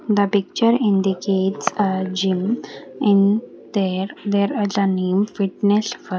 The picture indicates a gym in there there the name fitness fo --